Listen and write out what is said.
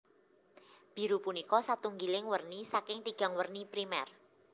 Biru punika satunggiling werni saking tigang werni primèr